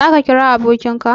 Za ka kira abokin ka?